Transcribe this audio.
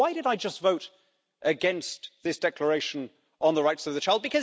So why did I just vote against this Declaration on the Rights of the Child?